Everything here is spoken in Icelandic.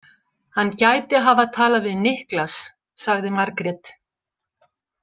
Hann gæti hafa talað við Niklas, sagði Margrét.